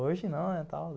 Hoje não, né, tal.